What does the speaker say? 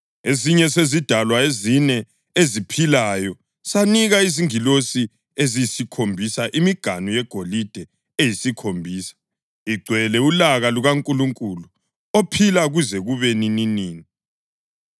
Esinye sezidalwa ezine eziphilayo sanika izingilosi eziyisikhombisa imiganu yegolide eyisikhombisa igcwele ulaka lukaNkulunkulu ophila kuze kube nininini.